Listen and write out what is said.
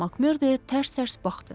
Makmerda tərs-tərs baxdı.